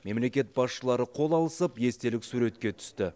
мемлекет басшылары қол алысып естелік суретке түсті